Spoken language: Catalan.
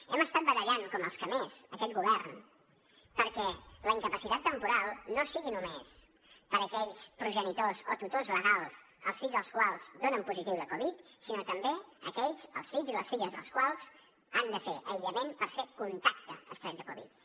hem estat batallant com els que més aquest govern perquè la incapacitat temporal no sigui només per a aquells progenitors o tutors legals els fills dels quals donen positiu de covid dinou sinó també aquells els fills i les filles dels quals han de fer aïllament per ser contacte estret de covid dinou